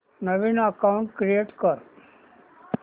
नवीन account create कर